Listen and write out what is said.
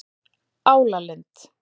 Álalind